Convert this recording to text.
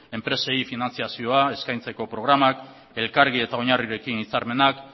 enpresei finantzazioa eskaintzeko programak elkargi eta oinarrirekin hitzarmenak